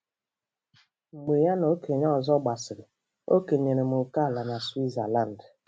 Mgbe ya na okenye ọzọ gbasịrị, o kenyere m ókèala na Switzalandi.